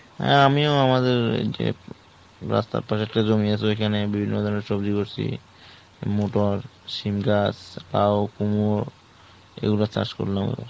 হ্যাঁ আমিও আমাদের ওই যে রাস্তার ধারে একটা জমি আছে ওই খানে বিভিন্ন ধরণের সবজি করছি। মটর, শিমগাছ, লাও, কুমড়ো এই গুলা চাষ করলাম এইবার